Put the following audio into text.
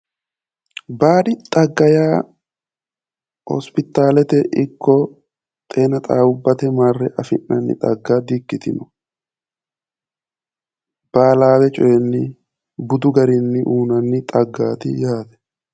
Baadi xagga yaa hosopitalete ikko xeenixaawubvate marre afi'nannita xagga di'ikkitino baalawe coyinni budu garinni uuynanni xaggaati yaate